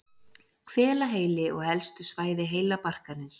hvelaheili og helstu svæði heilabarkarins